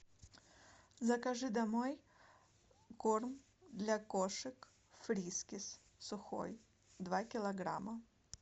закажи домой корм для кошек фрискис сухой два килограмма